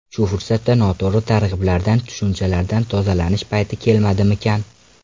Shu fursatda noto‘g‘ri targ‘iblardan, tushunchalardan tozalanish payti kelmadimikan?